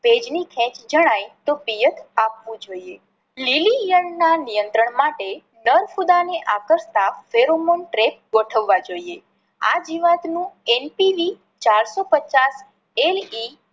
ભેજ ની ખેચ જણાય તો પિયત આપવું જોઈએ. લીલી ઇયળ ના નિયત્રંણ માટે નર ફૂદા ને આકર્ષતા ગોઠવવા જોઈએ. આ જીવાત નું NTE ચાર સૌ પચાસ LE